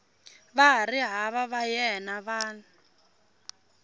vahariva va yena va n